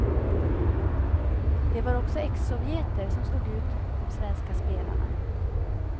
Det var också exsovjeter som slog ut de svenska spelarna.